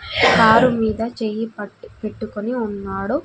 Car మీద చెయ్యి పట్టి పెట్టుకొని ఉన్నాడు.